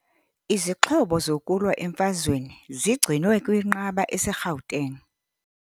Izixhobo zokulwa emfazweni zigcinwe kwinqaba eseGauteng.